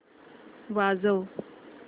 वाजव